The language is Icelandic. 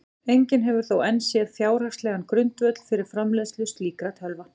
Enginn hefur þó enn séð fjárhagslegan grundvöll fyrir framleiðslu slíkra tölva.